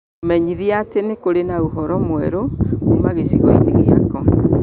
mũmenyithie atĩ nĩ kũrĩ na ũhoro mwerũ kuuma gĩcigo-inĩ gĩakwa